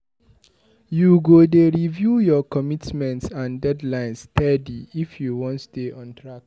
You go dey review your commitments and deadlines steady if you wan stay on track.